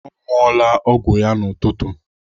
Ọ ṅụọla ọgwụ ya n'ụtụtụ.